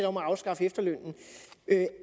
om at afskaffe efterlønnen